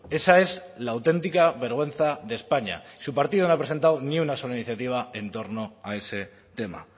esa es la auténtica vergüenza de españa su partido no ha presentado ni una sola iniciativa en torno a ese tema